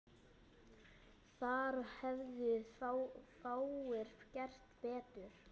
Þar hefðu fáir gert betur.